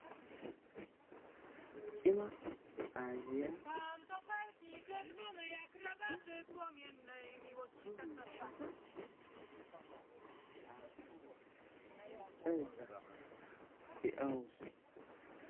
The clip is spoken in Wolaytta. Cima aayyiya ba karen uttada so miishshata haattan meeccaydda de"awusu.